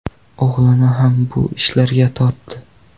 O‘g‘lini ham bu ishlarga tortdi.